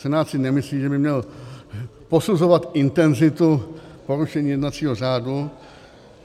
Senát si nemyslí, že by měl posuzovat intenzitu porušení jednacího řádu.